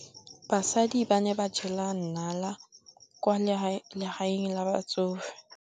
Basadi ba ne ba jela nala kwaa legaeng la batsofe.